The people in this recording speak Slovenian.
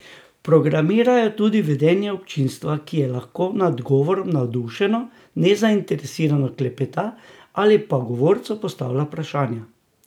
Programirajo tudi vedenje občinstva, ki je lahko nad govorom navdušeno, nezainteresirano klepeta ali pa govorcu postavlja vprašanja.